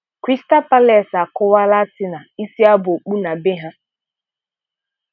Crystal Palace akụọla Arsenal isi aba okpu na bee ha.